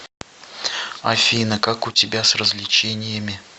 афина как у тебя с развлечениями